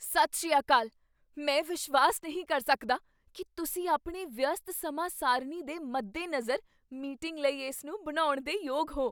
ਸਤਿ ਸ੍ਰੀ ਅਕਾਲ! ਮੈਂ ਵਿਸ਼ਵਾਸ ਨਹੀਂ ਕਰ ਸਕਦਾ ਕੀ ਤੁਸੀਂ ਆਪਣੇ ਵਿਅਸਤ ਸਮਾਂ ਸਾਰਣੀ ਦੇ ਮੱਦੇ ਨਜ਼ਰ ਮੀਟਿੰਗ ਲਈ ਇਸ ਨੂੰ ਬਣਾਉਣ ਦੇ ਯੋਗ ਹੋ!